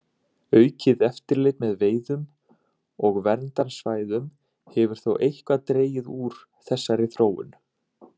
Aukið eftirlit með veiðum og verndarsvæðum hefur þó eitthvað dregið úr þessari þróun.